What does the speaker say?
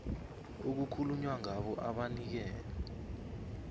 okukhulunywa ngabo abanikele